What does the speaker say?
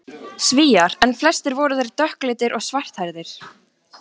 Svíar. en flestir voru þeir dökkleitir og svarthærðir.